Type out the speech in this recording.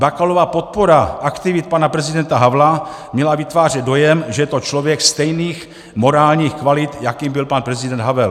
Bakalova podpora aktivit pana prezidenta Havla měla vytvářet dojem, že je to člověk stejných morálních kvalit, jakým byl pan prezident Havel.